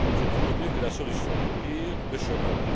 C'est toujours mieux que la solution du pire, le chômage.